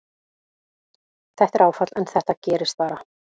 Þetta er áfall en þetta gerist bara.